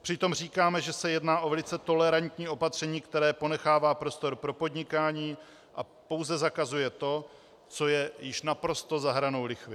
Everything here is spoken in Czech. Přitom říkáme, že se jedná o velice tolerantní opatření, které ponechává prostor pro podnikání a pouze zakazuje to, co je již naprosto za hranou lichvy.